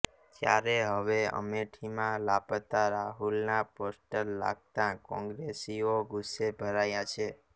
ત્યારે હવે અમેઠીમાં લાપત્તા રાહુલના પોસ્ટર લાગતા ક્રોંગ્રેસીઓ ગુસ્સે ભરાયા છે